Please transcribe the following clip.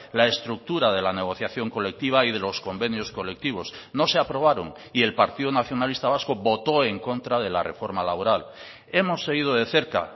la estructura de la negociación colectiva y de los convenios colectivos no se aprobaron y el partido nacionalista vasco votó en contra de la reforma laboral hemos seguido de cerca